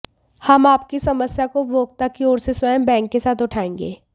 हम आपकी समस्या को उपभोक्ता की ओर से स्वयं बैंक के साथ उठाएंगे